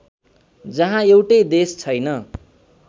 जहाँ एउटै देश छैन